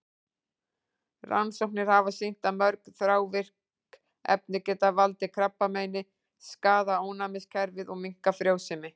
Rannsóknir hafa sýnt að mörg þrávirk efni geta valdið krabbameini, skaðað ónæmiskerfi og minnkað frjósemi.